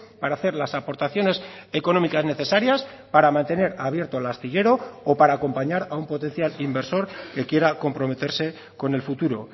para hacer las aportaciones económicas necesarias para mantener abierto el astillero o para acompañar a un potencial inversor que quiera comprometerse con el futuro